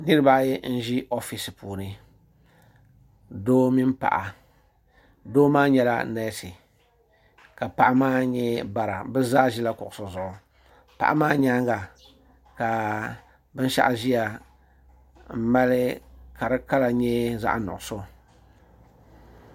Niriba ayi n ʒi ofiisi puuni doo mini paɣa doo maa nyɛla neesi ka paɣa maa nyɛ bara bɛ zaa ʒila kuɣusi zuɣu paɣa maa nyaanga binshaɣu ʒiyaka di kala nyɛ zaɣa nuɣuso.